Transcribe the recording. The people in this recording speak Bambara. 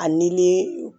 Ani ni